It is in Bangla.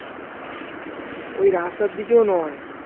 ওই রাস্তার দিকেও নয়